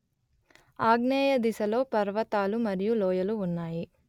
ఆగ్నేయదిశలో పర్వతాలు మరియు లోయలు ఉన్నాయి